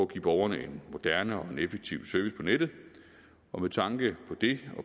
give borgerne en moderne og en effektiv service på nettet og med tanke